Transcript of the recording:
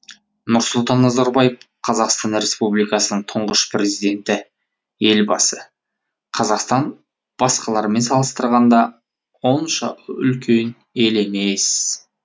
нұрсұлтан назарбаев қазақстан республикасының тұңғыш президенті елбасы қазақстан басқалармен салыстырғанда онша үлкен ел емес